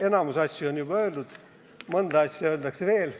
Enamik asju on juba öeldud, mõnda asja öeldakse veel.